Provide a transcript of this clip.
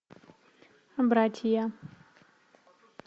братья